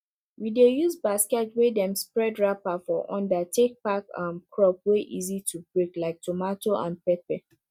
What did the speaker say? we dey use basket wey dem spread wrapper for under take pack um crop wey easy to break like tomato and pepper